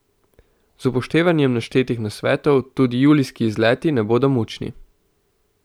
Z upoštevanjem naštetih nasvetov tudi julijski izleti ne bodo mučni.